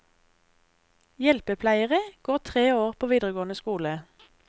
Hjelpepleiere går tre år på videregående skole.